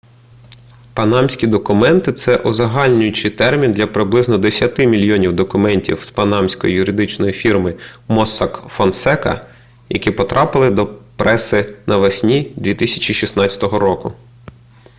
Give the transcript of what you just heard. панамські документи - це узагальнюючий термін для приблизно десяти мільйонів документів з панамської юридичної фірми моссак фонсека які потрапили до преси навесні 2016 року